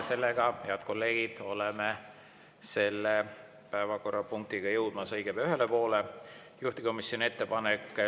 Seega, head kolleegid, oleme selle päevakorrapunktiga jõudmas õige pea ühele poole.